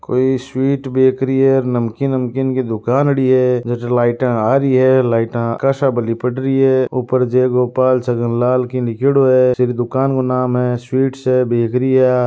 कोई sweet bakery है नमकीन बंकिन की दुकान लगी है जो लाइटा आ रही है लाइट लिपट रही है ऊपर जे गोपाल छाजनलाल की होया छे दुकान को नाम है स्वीट्स है बेकरी है।